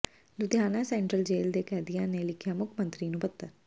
Ludhiana central jail ਦੇ ਕੈਦੀਆਂ ਨੇ ਲਿਖਿਆ ਮੁੱਖ ਮੰਤਰੀ ਨੂੰ ਪੱਤਰ